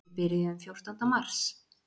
Við byrjuðum fjórtánda mars.